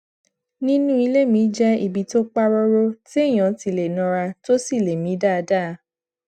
nínú ilé mi jé ibi tó pa róró téèyàn ti lè nara tó sì lè mí dáadáa